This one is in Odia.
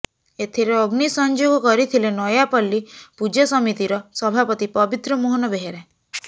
ଏଥିରେ ଅଗ୍ନୀ ସଂଯୋଗ କରିଥିଲେ ନୟାପଲ୍ଲୀ ପୂଜା ସମିତିର ସଭାପତି ପବିତ୍ର ମୋହନ ବେହେରା